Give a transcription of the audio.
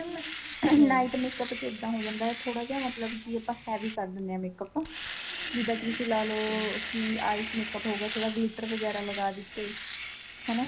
ਮੈਂ night makeup ਇੱਦਾਂ ਹੋ ਜਾਂਦਾ ਥੋੜਾ ਜਾ ਮਤਲਬ ਕੀ ਆਪਾਂ heavy ਕਰ ਲੈਣੇ ਆ makeup ਜਿੱਦਾਂ ਕੀ ਤੁਸੀਂ ਲਾ ਲੋ ਕੀ eyes makeup ਹੋ ਗਿਆ ਥੋੜਾ glitter ਵਗੈਰਾ ਲਗਾ ਦਿੱਤੇ ਹਨਾ